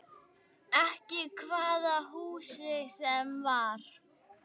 Ekki hvaða húsi sem var.